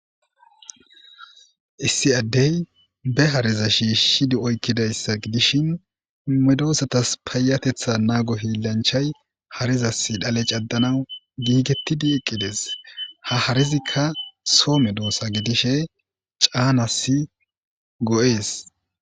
Issi addey be hariza shiishidi oykkidayssa gidishin medoosatas paayatetha naago hiillanchay harizas dhale caddanaw giigetidi eqqides ha harizikka soo medoosa gidishe caanasi go7ees